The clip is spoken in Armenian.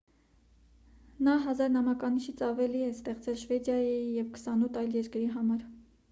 նա 1 000 նամականիշից ավելի է ստեղծել շվեդիայի և 28 այլ երկրի համար